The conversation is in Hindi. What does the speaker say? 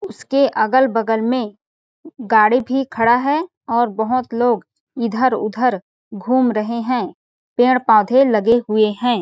उसके अगल -बगल में गाड़ी भी खड़ा है और बहुत लोग इधर- उधर घूम रहे है पेड़- पाधे लगे हुए हैं ।